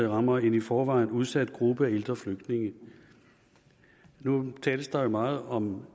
rammer en i forvejen udsat gruppe af ældre flygtninge nu tales der jo meget om